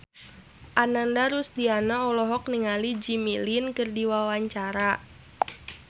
Ananda Rusdiana olohok ningali Jimmy Lin keur diwawancara